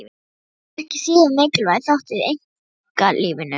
Vald er ekki síður mikilvægur þáttur í einkalífinu.